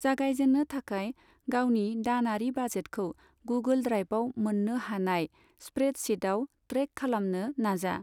जागायजेननो थाखाय, गावनि दानारि बाजेटखौ गुगल ड्राइभआव मोननो हानाय स्प्रेडशीटआव ट्रैक खालामनो नाजा।